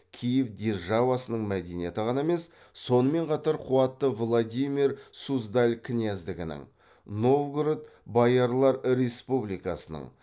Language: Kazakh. киев державасының мәдениеті ғана емес сонымен қатар қуатты владимир суздаль княздігінің новгород боярлар республикасының